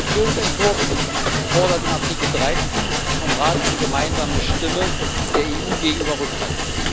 Der Entschließungsentwurf fordert in Artikel 13 vom Rat eine gemeinsame Stimme der EU gegenüber Russland.